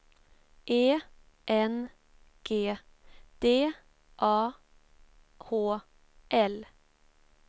E N G D A H L